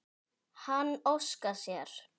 Hann óskar sér.